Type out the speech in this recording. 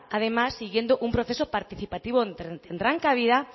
además siguiendo un proceso participativo donde tendrán cabida